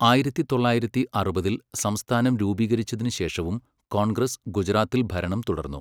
ആയിരത്തി തൊള്ളായിരത്തി അറുപതിൽ സംസ്ഥാനം രൂപീകരിച്ചതിനു ശേഷവും കോൺഗ്രസ് ഗുജറാത്തിൽ ഭരണം തുടർന്നു.